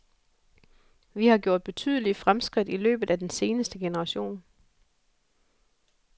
Vi har gjort betydelige fremskridt i løbet af den seneste generation.